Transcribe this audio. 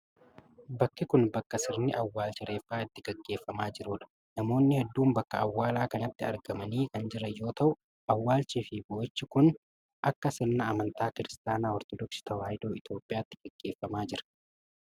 Bakki kun, bakka sirni awwaalcha reeffaa itti gaggeeffamaa jiruu dha. Namoonni hedduun bakka awwaalaa kanatti argamanii kan jiran yoo ta'u, awwaalchii fi bo'ichi kun akka sirna amntaa Kiristaana Ortodooksii Tawaahidoo Itoophiyaatti gaggeeffamaa jira.